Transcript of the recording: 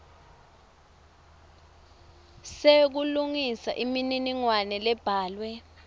sekulungisa imininingwane lebhalwe